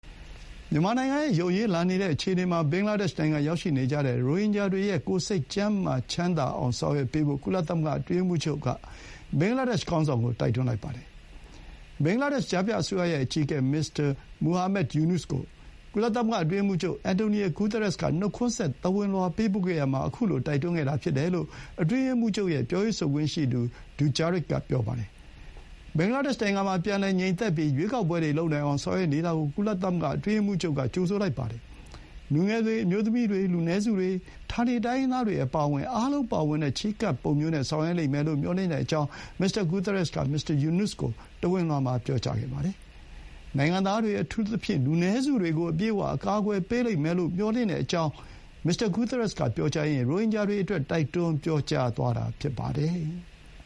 မြန်မာနိုင်ငံရဲ့ ယိုယွင်းလာနေတဲ့အခြေအနေမှာ ဘင်္ဂလားဒေ့ရှ်နိုင်ငံမှာရောက်ရှိနေကြတဲ့ ရိုဟင်ဂျာတွေရဲ့ ကိုယ်စိတ်ကျန်းမာချမ်းသာအောင် ဆောင်ရွက်ပေးဖို့ ကုလသမဂ္ဂ အတွင်းရေးမှူးချုပ်က ဘင်္ဂလားဒေ့ရှ် ခေါင်းဆောင်ကို တိုက်တွန်းလိုက်ပါတယ်။ ဘင်္ဂလားဒေ့ရှ် ကြားဖြတ်အစိုးရရဲ့ အကြီးအကဲ မစ္စတာ မူဟာမက် ယူနွတ်စ်ကို ကုလသမဂ္ဂ အတွင်းရေးမှူးချုပ် အင်တိုနီယို ဂူသရက်စ် က နှုတ်ခွန်းဆက် သဝဏ်လွှာပေးပို့ခဲ့ရာမှာ ခုလို တိုက်တွန်းခဲ့တာ ဖြစ်တယ်လို့ အတွင်းရေးမှူးချုပ်ရဲ့ပြောရေးဆိုခွင့်ရှိသူ Stéphane Dujarric က ပြောပါတယ်။ ဘင်္ဂလားဒေ့ရှ် နိုင်ငံမှာ ပြန်လည်ငြိမ်သက်ပြီး ရွေးကောက်ပွဲတွေလုပ်နိုင်အောင် ဆောင်ရွက်နေတာကို ကုလ အတွင်းရေးမှူးချုပ်က ကြိုဆိုလိုက်ပါတယ်။ လူငယ်တွေ၊ အမျိုးသမီးတွေ၊ လူနည်းစုတွေ၊ ဌာနေတိုင်းရင်းသားတွေအပါအဝင် အားလုံးပါဝင်တဲ့ ချဥ်းကပ်ပုံမျိုးနဲ့ဆောင်ရွက်လိမ့်မယ်လို့ မျှော်လင့်ကြောင်း မစ္စတာ ဂူသရက်စ်က မစ္စတာ ယူနွတ်စ်ကို သဝဏ်လွှာမှာ ပြောကြားခဲ့ပါတယ်။နိုင်ငံသားတွေ အထူးသဖြင့် လူနည်းစုတွေကို အပြည့်အဝ အကာကွယ်ပေးလိမ့်မယ်လို့ မျှော်လင့်တဲ့အကြောင်း မစ္စတာ ဂူသရက်စ်ကပြောကြားရင်း ရိုဟင်ဂျာတွေအတွက် တိုက်တွန်းပြောကြားသွားတာ ဖြစ်ပါတယ်။